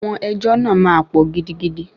Àwọn ẹjọ́ náà máa pọ̀ gidigidi.